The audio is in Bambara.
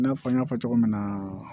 I n'a fɔ n y'a fɔ cogo min na